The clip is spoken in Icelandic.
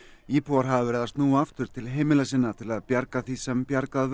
íbúar hafa verið að snúa aftur til heimila sinna til að bjarga því sem bjargað